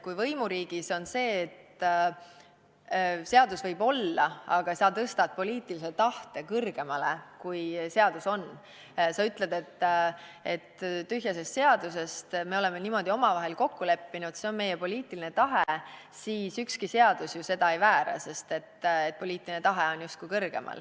Kui võimuriigis on nii, et seadus võib olla, aga sa tõstad poliitilise tahte kõrgemale kui seadus ja ütled, et tühja sest seadusest, me oleme niimoodi omavahel kokku leppinud, see on meie poliitiline tahe, siis ükski seadus ju seda ei väära, sest poliitiline tahe on justkui kõrgemal.